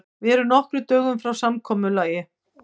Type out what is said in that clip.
Við erum nokkrum dögum frá samkomulagi.